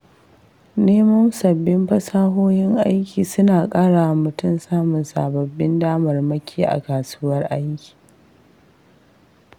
Neman sabbin fasahohin aiki suna ƙara wa mutum samun sababbin damarmaki a kasuwar aiki.